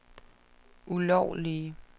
ulovlige